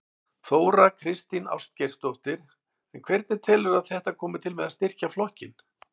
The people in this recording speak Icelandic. Þóra Kristín Ásgeirsdóttir: En hvernig telurðu að þetta komi til með að styrkja flokkinn?